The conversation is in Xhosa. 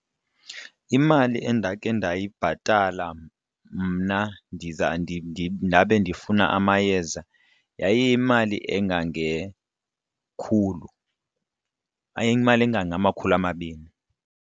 Imali endakhe ndayibhatala mna ndabe ndifuna amayeza yayiyimali engangekhulu yayiyimali engangamakhulu amabini.